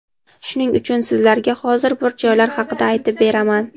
Shuning uchun sizlarga hozir bir joylar haqida aytib beraman.